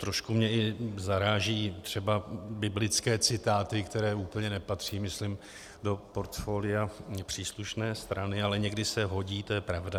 Trošku mě i zarážejí třeba biblické citáty, které úplně nepatří myslím do portfolia příslušné strany, ale někdy se hodí, to je pravda.